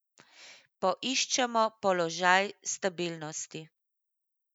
Poiščemo položaj stabilnosti.